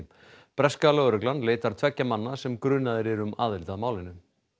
breska lögreglan leitar tveggja manna sem eru grunaðir um aðild að málinu